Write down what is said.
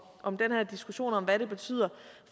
om den her diskussion om hvad det betyder